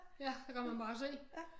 Ja der kan man bare se